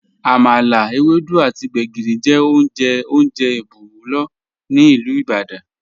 Àmàlà, èwèdú àtì gbẹ̀gìrì jẹ ọ̀un jẹ́ ọ́njè ìbùwọ̀lú ni Ilú Ìbàdàn.